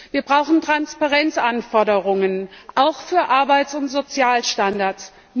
Wir brauchen Transparenzanforderungen, auch für Arbeits und Sozialstandards.